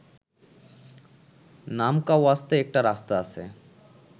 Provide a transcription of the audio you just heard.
নামকাওয়াস্তে একটা রাস্তা আছে